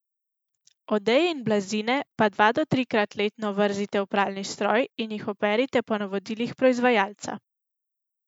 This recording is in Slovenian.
Odeje in blazine pa dva do trikrat letno vrzite v pralni stroj in jih operite po navodilih proizvajalca.